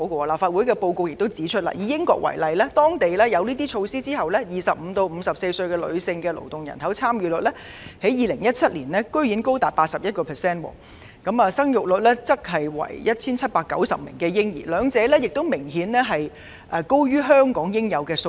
立法會的報告指出，以英國為例，當地實施這些措施後 ，2017 年的25歲至54歲的女性勞動參與率居然高達 81%， 新生嬰兒有 1,790 名，兩者均明顯高於香港應有的數字。